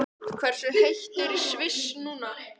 Hversu heitt er í Sviss núna?